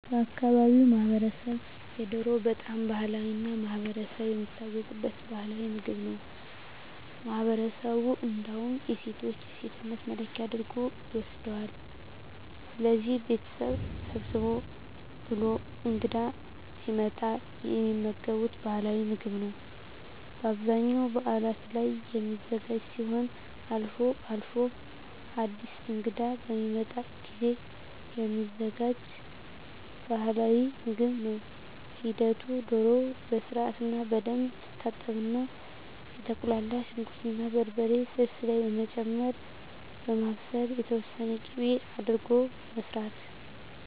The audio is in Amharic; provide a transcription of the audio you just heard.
በአካባቢው ማህበረሰብ የዶሮ በጣም ባህላዊ እና ማህበረሰብ የሚታወቅበት ባህላዊ ምግብ ነው ለማህበረሠቡ እንዳውም የሴቶች የሴትነት መለኪያ አድርጎ ይወስደዋል። ስለዚህ ቤተሠብ ሰብሰብ ብሎ እንግዳ ሲመጣ የሚመገቡት ባህላዊ ምግብ ነው በአብዛኛው በዓላት ላይ የሚዘጋጅ ሲሆን አልፎ አልፎም አድስ እንግዳ በሚመጣ ጊዜም የሚዘጋጅ ባህልዊ ምግብ ነው ሂደቱ ዶሮ በስርዓትና በደንብ ትታጠብና የተቁላላ ሽንኩር እና በርበሬ ስልስ ላይ በመጨመር በማብሰል የተወሠነ ቂቤ አድርጎ መስራት